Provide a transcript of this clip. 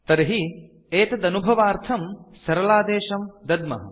तर्हि एतदनुभवार्थं सरलादेशं दद्मः